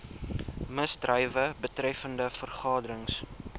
misdrywe betreffende vergaderings